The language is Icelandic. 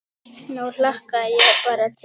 Nú hlakka ég bara til.